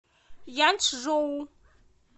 янчжоу